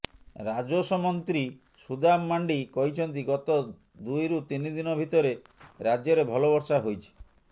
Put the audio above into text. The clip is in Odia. ରାଜସ୍ୱ ମନ୍ତ୍ରୀ ସୁଦାମ ମାର୍ଣ୍ଡି କହିଛନ୍ତି ଗତ ଦୁଇରୁ ତିନି ଦିନ ଭିତରେ ରାଜ୍ୟରେ ଭଲ ବର୍ଷା ହୋଇଛି